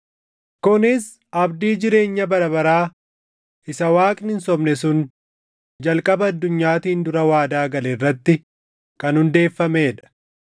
kunis abdii jireenya bara baraa isa Waaqni hin sobne sun jalqaba addunyaatiin dura waadaa gale irratti kan hundeeffamee dha;